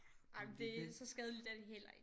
Nej men det så skadeligt er det heller ikke